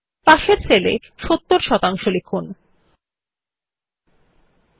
অবশেষে শেষ সারির আমরা প্রথম সেল এ শিরোনাম হিসাবে পোস্ট Graduationএবং পাশের সেল এ নম্বর হিসাবে ৭০ শতাংশ লিখুন